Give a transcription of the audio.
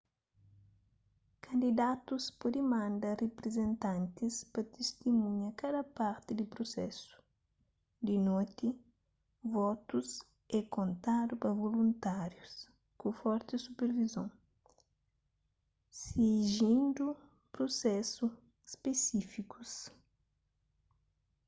kandidatus pode manda riprizentantis pa tistimunha kada parti di prusesu di noti votus é kontadu pa voluntárius ku forti supervizon sigindu prusesu spesífikus